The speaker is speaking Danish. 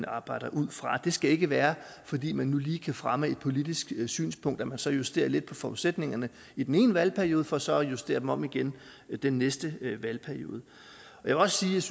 arbejder ud fra det skal ikke være fordi man nu lige kan fremme et politisk synspunkt at man så justerer lidt på forudsætningerne i den ene valgperiode for så at justere dem om igen den næste valgperiode jeg synes